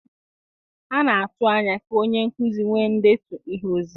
A na-atụ anya ka onye nkuzi nwee ndetu ihe ozizi.